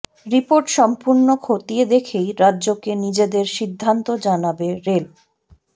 report সম্পূর্ণ খতিয়ে দেখেই রাজ্যকে নিজেদের সিদ্ধান্ত জানাবে রেল